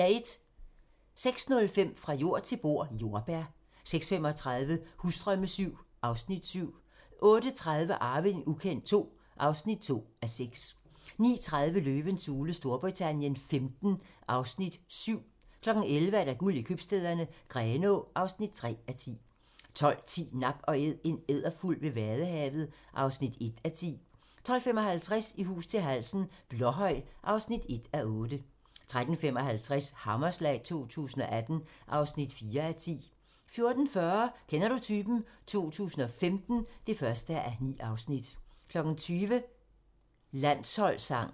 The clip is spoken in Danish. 06:05: Fra jord til bord: Jordbær 06:35: Husdrømme VII (Afs. 7) 08:30: Arving ukendt II (2:6) 09:30: Løvens hule Storbritannien XV (Afs. 7) 11:00: Guld i købstæderne - Grenaa (3:10) 12:10: Nak & Æd - en edderfugl ved Vadehavet (1:10) 12:55: I hus til halsen - Blåhøj (1:8) 13:55: Hammerslag 2018 (4:10) 14:40: Kender du typen? 2015 (1:9) 20:00: Landsholdssangen